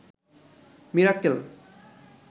Mirakkel